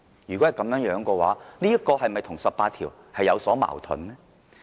如果是這樣的話，這是否與《基本法》第十八條有所矛盾呢？